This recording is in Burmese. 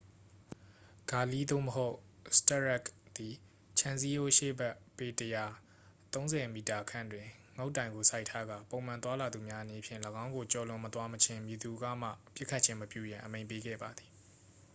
ဂါလီး သို့မဟုတ် စတရက်ခ် သည် ခြံစည်းရိုးရှေ့ဘက် ပေ ၁၀၀ ၃၀ m ခန့်တွင် ငုတ်တိုင်ကို စိုက်ထားကာ ပုံမှန်သွားလာသူများအနေဖြင့် ၎င်းကိုကျော်လွန်မသွားမချင်း မည်သူကမှ ပစ်ခတ်ခြင်းမပြုရန် အမိန့်ပေးခဲ့ပါသည်။